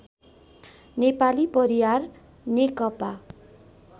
Nepali Pariyar Nekapa